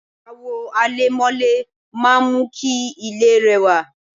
àwo àlẹ̀mọ́lẹ̀ máà ń mú kí ilé rẹwà